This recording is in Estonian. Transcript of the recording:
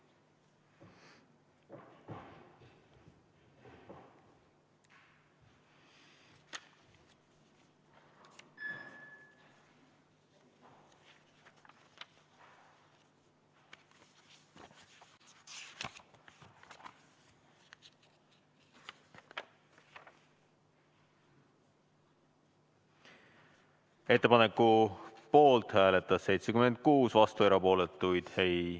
Ettepaneku poolt hääletas 76, vastuolijaid ega erapooletuid ei ...